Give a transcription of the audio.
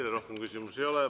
Teile rohkem küsimusi ei ole.